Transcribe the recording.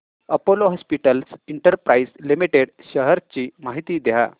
Apollo hospitals enterprise limited shares ची माहिती द्या